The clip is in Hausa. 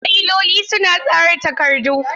Fayiloli suna tsara takardu.